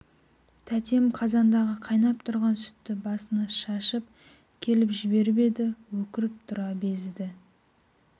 тәтем қазандағы қайнап тұрған сүтті басына шашып келіп жіберіп еді өкіріп тұра безіді